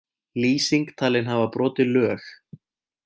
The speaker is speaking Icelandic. Lýsing talin hafa brotið lög